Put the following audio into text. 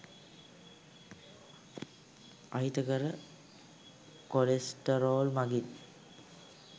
අහිතකර කොලෙස්ටරෝල් මගින්